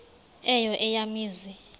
eyo eya mizi